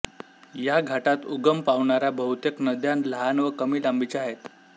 या घाटात उगम पावणाऱ्या बहुतेक नद्या लहान व कमी लांबीच्या आहेत